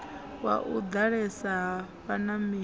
wa u ḓalesa ha vhanameli